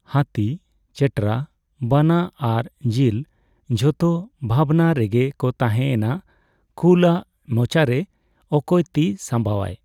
ᱦᱟᱛᱤ, ᱪᱮᱴᱨᱟ, ᱵᱟᱱᱟ ᱟᱨ ᱡᱤᱞ ᱡᱷᱚᱛᱚ ᱵᱷᱟᱵᱱᱟ ᱨᱮᱜᱮ ᱠᱚ ᱛᱟᱦᱮᱸᱼᱮᱱᱟ ᱾ᱠᱩᱞᱼᱟᱜ ᱢᱚᱪᱟᱨᱮ ᱚᱠᱚᱭ ᱛᱤ ᱥᱟᱢᱵᱟᱣᱟᱭ?